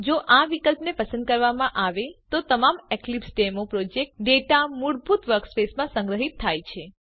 જો આ વિકલ્પને પસંદ કરવામાં આવે તો તમામ એક્લીપ્સડેમો પ્રોજેક્ટ ડેટા મૂળભૂત વર્કસ્પેસમાં સંગ્રહીત થાય છે